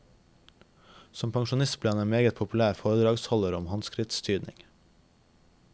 Som pensjonist ble han en meget populær foredragsholder om håndskriftstyding.